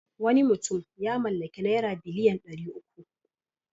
Wani mutum ya mallaki naira biliyan ɗari uku.